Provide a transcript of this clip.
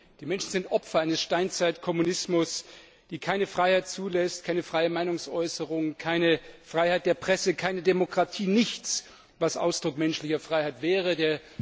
Die Menschen sind Opfer eines Steinzeitkommunismus, der keine Freiheit zulässt, keine freie Meinungsäußerung, keine Freiheit der Presse, keine Demokratie nichts, was Ausdruck menschlicher Freiheit wäre.